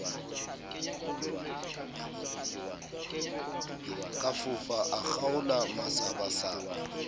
ka fofa a kgaola masabasaba